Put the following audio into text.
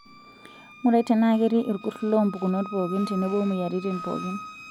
Ng'urai tenaa ketii ilkurt loo mpukunot pookin tenebo moyiaritin pookin.